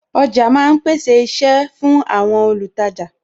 Ọjà ma ń pèsè iṣẹ́ fún àwọn olùtajà